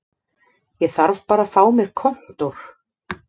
Ég þarf bara að fá mér kontór